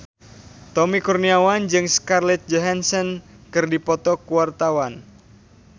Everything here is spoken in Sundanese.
Tommy Kurniawan jeung Scarlett Johansson keur dipoto ku wartawan